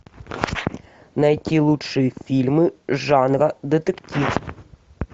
найти лучшие фильмы жанра детектив